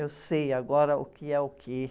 Eu sei agora o que é o quê.